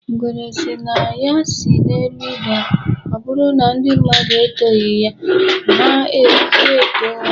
Ngwere sị na ya si n'elu daa, ọbụrụ na ndị mmadụ etoghi ya, ha etoo onwe ya.